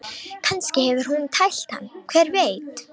Kannski hefur hún tælt hann, hver veit?